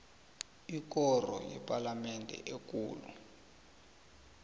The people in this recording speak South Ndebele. ikoro yepalamende ekulu